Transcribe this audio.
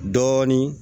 Dɔɔnin